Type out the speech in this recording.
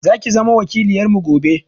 Zaki zama wakiloyarmu gobe.